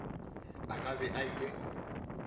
a ka be a ile